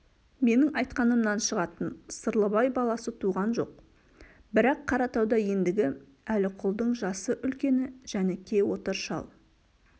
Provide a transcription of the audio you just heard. менің айтқанымнан шығатын сырлыбай баласы туған жоқ бірақ қаратауда ендігі әліқұлдың жасы үлкені жәніке отыр шал